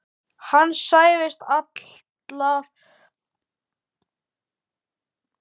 Höskuldur: Ert þú hlynnt því að flokksþing verði boðað?